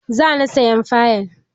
Za ni sayan fayil.